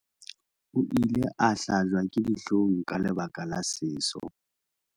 o ile a hlajwa ke dihlong ka lebaka la seso